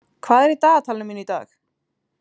Ann, hvað er í dagatalinu mínu í dag?